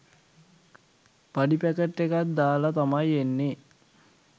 පඩි පැකට් එකත් දාලා තමයි එන්නේ.